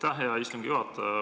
Aitäh, hea istungi juhataja!